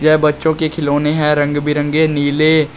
यह बच्चों के खिलौने हैं रंग बिरंगे नीले--